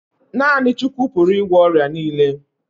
Naa6ni Chukwu pụrụ ị gwọ ọrịa niile